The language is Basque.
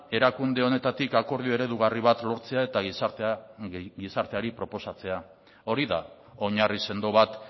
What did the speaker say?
erakunde honetatik akordio eredugarri bat lortzea eta gizarteari proposatzea hori da oinarri sendo bat